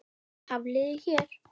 Fræið er vængjuð hnota.